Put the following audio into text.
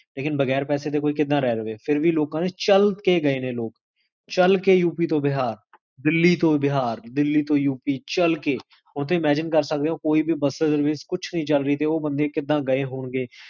ਲੇਕਿਨ ਬਗੈਰ ਪੈਸੇ ਦੇ, ਕੋਈ ਕਿਦਾਂ ਰਹ ਜਾਵੇ? ਫੇਰ ਵੀ ਲੋਕਾਂ ਨੇ, ਚਲ ਕ ਗਾਏ ਨੇ ਲੋਕ, ਚਲ ਕ ਯੂ ਪੀ ਤੋਂ ਬਿਹਾਰ, ਦਿੱਲੀ ਤੋਂ ਬਿਹਾਰ, ਦਿੱਲੀ ਤੋਂ ਯੂ ਪੀ, ਚਲ ਕੇ ਹੁਣ ਤੇ imagine ਕਰ ਸਕਦੇ ਹੋ, ਕੋਈ ਵੀ ਬਸ service, ਕੁਛ ਨੀ ਚਲ ਰਹੀ, ਤੇ ਓਹ ਬੰਦੇ ਕਿੱਦਾਂ ਗਏ ਹੋਣਗੇ?